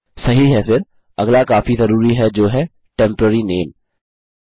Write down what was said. सही है फिर अगला काफी ज़रूरी है जो है टेम्पोरेरी नामे